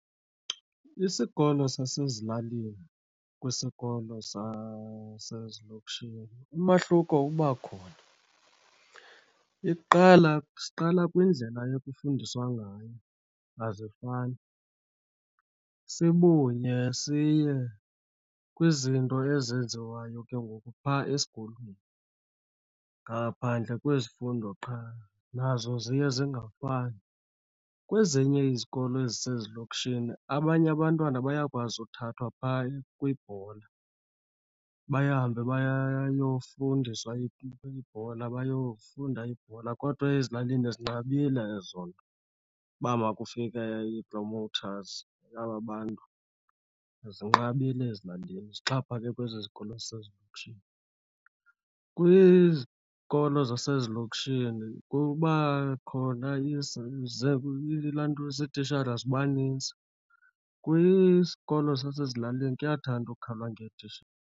Isikolo zasezilalini kwisikolo sasezilokishini, umahluko uba khona. Iqala siqala kwindlela ekufundiswa ngayo, azifani. Sibuye siye kwizinto ezenziwayo ke ngoku phaa esikolweni, ngaphandle kwezifundo qha nazo ziye zingafani. Kwezinye izikolo ezisezilokishini abanye abantwana bayakwazi uthathwa phaa kwibhola bahambe bayofundiswa ibhola, bayofunda ibhola, kodwa ezilalini zinqabile ezo nto. Uba makafike ii-promoters, aba bantu, zinqabile ezilalini. Zixhaphake kwezi zikolo ezisezilokishini. Kwizikolo zasezilokishini kuba khona ilantuza, iitishara ziba nintsi. Kwisikolo sasezilalini kuyathanda ukukhalwa .